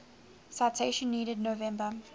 citation needed november